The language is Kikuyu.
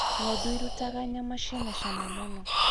Ng'ondu irutaga nyama ciĩna na cama mũno